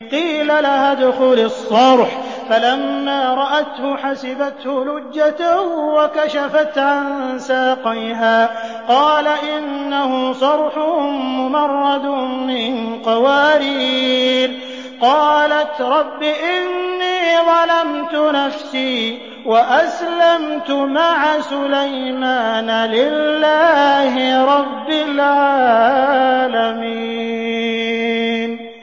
قِيلَ لَهَا ادْخُلِي الصَّرْحَ ۖ فَلَمَّا رَأَتْهُ حَسِبَتْهُ لُجَّةً وَكَشَفَتْ عَن سَاقَيْهَا ۚ قَالَ إِنَّهُ صَرْحٌ مُّمَرَّدٌ مِّن قَوَارِيرَ ۗ قَالَتْ رَبِّ إِنِّي ظَلَمْتُ نَفْسِي وَأَسْلَمْتُ مَعَ سُلَيْمَانَ لِلَّهِ رَبِّ الْعَالَمِينَ